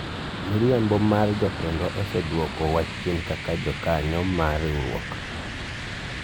miriambo amr jotendwa osedwoko wa chien kaka joka yo mar riwruok